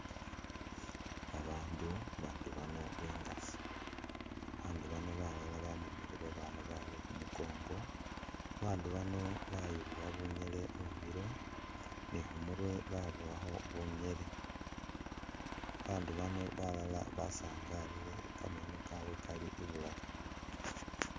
Babandu, babandu bano bengazi, babandu bano balala bamemele babaana babwe khumukongo, babandu bano bayiboowa bunyele mumilo ni khumurwe baboowakho bunyele, babandu bano balala basaangalile kameno kabwe Kali i'bulaafu